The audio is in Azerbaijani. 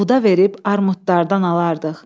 Buğda verib armudlardan alardıq.